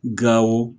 Gawo